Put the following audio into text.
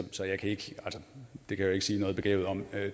det kan jeg jo ikke sige noget begavet om